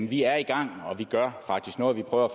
vi er i gang vi gør faktisk noget vi prøver